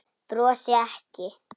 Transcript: Brosi ekki.